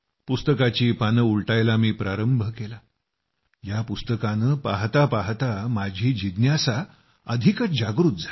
पुस्तकाची पानं उलटायला मी प्रारंभ केला या पुस्तकानं पाहता पाहता माझी जिज्ञासा अधिकच जागृत झाली